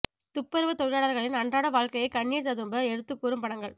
துப்புரவு தொழிலாளர்களின் அன்றாட வாழ்க்கையை கண்ணீர் ததும்ப எடுத்து கூறும் படங்கள்